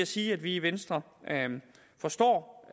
sige at vi i venstre forstår